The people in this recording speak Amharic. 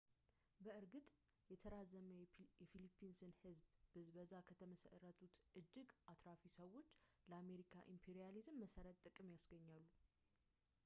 በእርግጥ የተራዘመ የፊሊፒንስን ሕዝብ ብዝበዛ ከተመሠረቱት እጅግ አትራፊዎች ለአሜሪካ ኢምፔሪያሊዝም መሠረታዊ ጥቅሞችን ያስገኛሉ